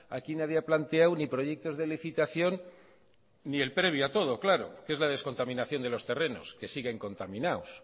aquí nadie ha planteado ni proyectos de licitación ni el previo a todo claro que es la descontaminación de los terrenos que siguen contaminados